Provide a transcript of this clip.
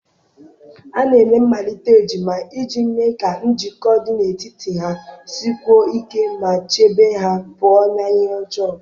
A na-eme mmalite ejima iji mee ka njikọ dị n'etiti ha sikwuo ike ma chebe ha pụọ na ihe ọjọọ